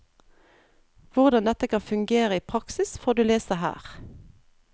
Hvordan dette kan fungere i praksis, får du lese her.